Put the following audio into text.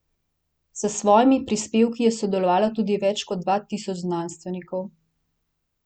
S svojimi prispevki je sodelovalo tudi več kot dva tisoč znanstvenikov.